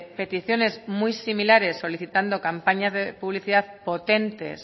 peticiones muy similares solicitando campañas de publicidad potentes